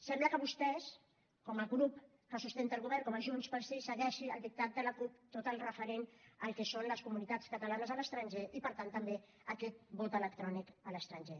sembla que vostès com a grup que sustenta el govern com a junts pel sí segueixin el dictat de la cup en tot el referent al que són les comunitats catalanes a l’estranger i per tant també a aquest vot electrònic a l’estranger